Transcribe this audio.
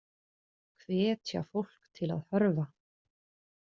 Hvetja fólk til að hörfa